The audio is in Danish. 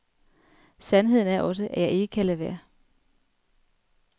Sandheden er også, at jeg ikke kan lade være.